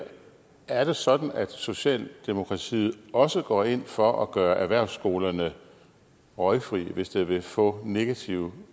er det sådan at socialdemokratiet også går ind for at gøre erhvervsskolerne røgfri hvis det vil få negative